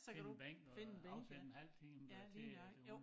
Finde en bænk og afsætte en halv time øh til hun